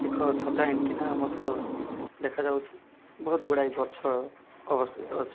ଏକ ଛତା ଆଣ୍ଟିନା ମଧ୍ୟ ଦେଖାଯାଉଚି‌। ବୋହୁତ୍ ଗୁଡ଼ାଏ ଗଛ ଅବସ୍ଥିତ ଅଛି।